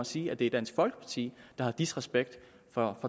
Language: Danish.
sige at det er dansk folkeparti der har disrespekt for